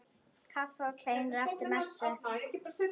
Kaffi og kleinur eftir messu.